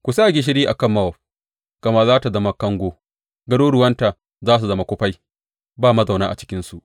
Ku sa gishiri a kan Mowab, gama za tă zama kango; garuruwanta za su zama kufai, ba mazauna a cikinsu.